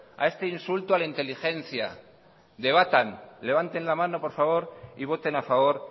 a este insulto a la inteligencia debatan levanten la mano por favor y voten a favor